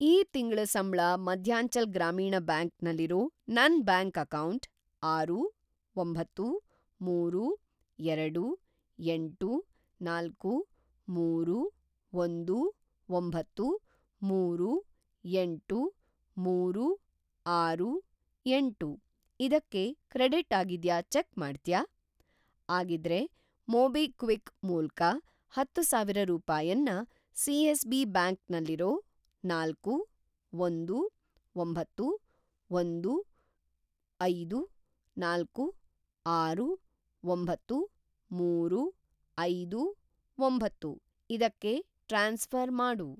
ಈ ತಿಂಗ್ಳ ಸಂಬ್ಳ ಮಧ್ಯಾಂಚಲ್‌ ಗ್ರಾಮೀಣ್‌ ಬ್ಯಾಂಕ್ ನಲ್ಲಿರೋ ನನ್‌ ಬ್ಯಾಂಕ್ ಅಕೌಂಟ್‌‌ ಆರು, ಒಂಬತ್ತು, ಮೂರು, ಎರಡು, ಎಂಟು, ನಾಲ್ಕು, ಮೂರು, ಒಂದು, ಒಂಬತ್ತು, ಮೂರು, ಎಂಟು, ಮೂರು, ಆರು, ಎಂಟು ಇದಕ್ಕೆ ಕ್ರೆಡಿಟ್‌ ಆಗಿದ್ಯಾ ಚೆಕ್‌ ಮಾಡ್ತ್ಯಾ? ಆಗಿದ್ರೆ, ಮೊಬಿಕ್ವಿಕ್ ಮೂಲ್ಕ ಹತ್ತುಸಾವಿರ ರೂಪಾಯನ್ನ ಸಿ.ಎಸ್.ಬಿ. ಬ್ಯಾಂಕ್ ನಲ್ಲಿರೋ ನಾಲ್ಕು, ಒಂದು, ಒಂಬತ್ತು, ಒಂದು, ಐದು, ನಾಲ್ಕು, ಆರು, ಒಂಬತ್ತು, ಮೂರು, ಐದು, ಒಂಬತ್ತು ಇದಕ್ಕೆ ಟ್ರಾನ್ಸ್‌ಫ಼ರ್‌ ಮಾಡು.